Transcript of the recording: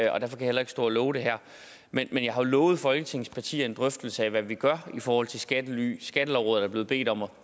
jeg heller ikke stå og love det her men jeg har lovet jo folketingets partier en drøftelse af hvad vi gør i forhold til skattely skattelovrådet er blevet bedt om